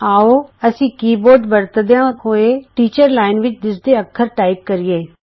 ਆਉ ਅਸੀਂ keyboard ਵਰਤਦਿਆਂ ਹੋਏ ਟੀਚਰ ਅਧਿਆਪਕ ਲਾਈਨ ਵਿੱਚ ਦਿੱਸਦੇ ਅੱਖਰ ਟਾਈਪ ਕਰੀਏ